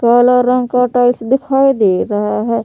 काला रंग का टाइल्स दिखाई दे रहा है।